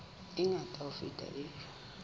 e ngata ho feta e